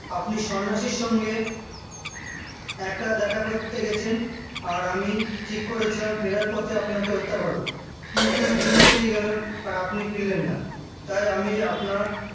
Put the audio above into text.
আপনি সন্ন্যাসীর সঙ্গে একা দেখা করতে গেছেন আর আমি ঠিক করেছিলাম ফেরার পথে আপনাকে হত্যা করবে কিন্তু দিন পেরিয়ে গেল আর আপনি ফিরলেন না তাই আমি আপনার